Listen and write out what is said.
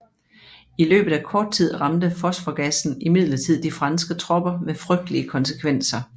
I løbet af kort tid ramte fosforgassen imidlertid de franske tropper med frygtelige konsekvenser